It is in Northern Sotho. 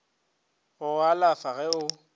go go alafa ge o